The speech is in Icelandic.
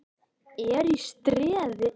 ERT Í STREÐI.